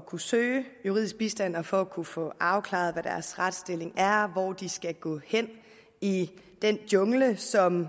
kunne søge juridisk bistand og for at kunne få afklaret hvad deres retsstilling er og hvor de skal gå hen i den jungle som